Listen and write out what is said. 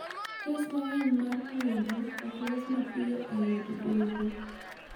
Kes mang'eny mar puodho ok los mapiyo e od doho